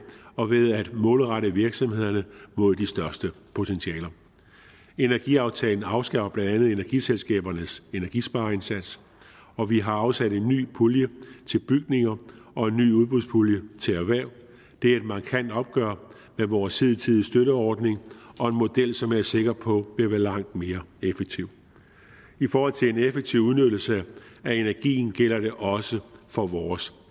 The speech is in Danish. og ved at målrette virksomhederne mod de største potentialer energiaftalen afskar blandt andet energiselskabernes energispareindsats og vi har afsat en ny pulje til bygninger og en ny udbudspulje til erhverv det er et markant opgør med vores hidtidige støtteordning og en model som jeg er sikker på vil være langt mere effektiv i forhold til en effektiv udnyttelse af energien gælder det også for vores